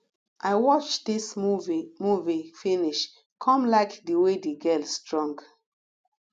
i watch dis movie movie finish come like the way the girl strong